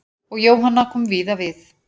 Og Jóhanna kom víða við.